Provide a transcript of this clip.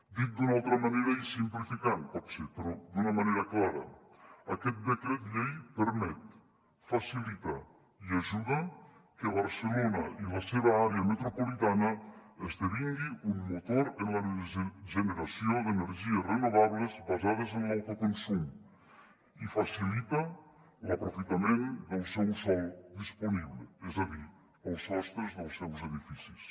dit d’una altra manera i simplificant potser però d’una manera clara aquest decret llei permet facilita i ajuda que barcelona i la seva àrea metropolitana esdevinguin un motor en la generació d’energies renovables basades en l’autoconsum i facilita l’aprofitament del seu sòl disponible és a dir els sostres dels seus edificis